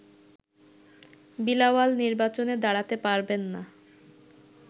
বিলাওয়াল নির্বাচনে দাঁড়াতে পারবেন না